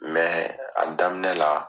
a daminɛ la